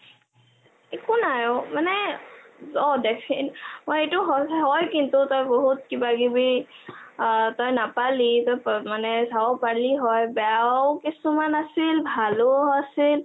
একো নাই অ মানে.... অ definite অ..... এইটো হয় কিন্তু তই বহুত কিবা কিবি তই নাপালি ....তই চাব পাৰিলি হয় । বেয়াও কিছুমান আছিল ভালোও কিছুমান আছিল